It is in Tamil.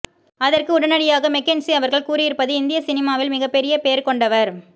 அதற்கு உடனடியாக மெக்கென்ஸி அவர்கள் கூறியிருப்பது இந்திய சினிமாவில் மிகப்பெரிய பெயர் கொண்டவர்